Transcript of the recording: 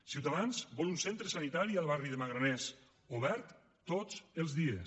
ciutadans vol un centre sanitari al barri de magraners obert tots els dies